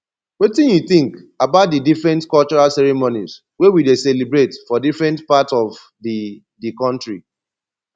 wetin you think about di different cultural ceremonies wey we dey celebrate for different part of di di country